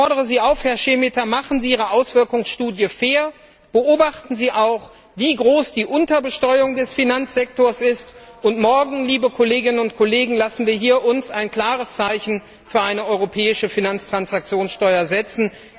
Ich fordere Sie auf, Herr Šemeta, machen Sie Ihre Folgenabschätzung fair, berücksichtigen Sie auch, wie groß die Unterbesteuerung des Finanzsektors ist! Und, liebe Kolleginnen und Kollegen, lassen Sie uns morgen ein klares Zeichen für eine europäische Finanztransaktionssteuer setzen!